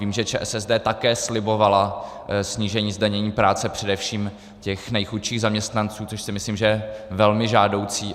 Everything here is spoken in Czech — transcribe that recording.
Vím, že ČSSD také slibovala snížení zdanění práce především těch nejchudších zaměstnanců, což si myslím, že je velmi žádoucí.